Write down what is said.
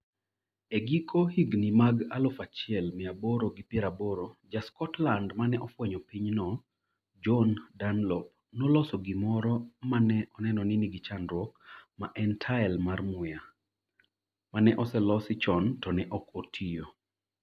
E giko higni mag aluf achiel miya aboro gi piero aboro, ja Scotland mane ofwenyo pinyno, John Dunlop noloso gimoro mane oneno ni nigi chandruok ma en tael mar muya, mane oselosi chon to ne ok otiyo